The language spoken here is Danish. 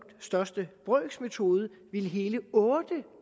største brøks metode ville hele otte